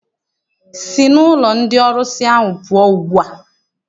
Sị n'ụlọ ndị ọrụsị ahụ pụọ ugbu a!